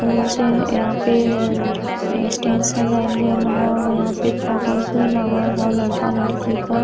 फूल से यहाँँ पे अ स्टेज सजाएल गइल ह। यहाँँ पे फोटोज भी लगल ह लड़का लड़की क।